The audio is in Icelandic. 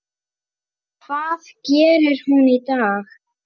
Hvað gerir hún í dag?